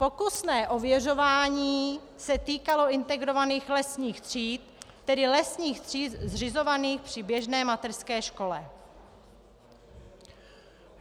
Pokusné ověřování se týkalo integrovaných lesních tříd, tedy lesních tříd zřizovaných při běžné mateřské škole.